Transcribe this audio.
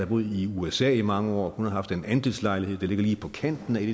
boet i usa i mange år hun har haft en andelslejlighed der ligger lige på kanten af et